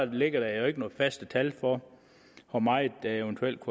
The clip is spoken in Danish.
ligger der jo ikke nogen faste tal for hvor meget der eventuelt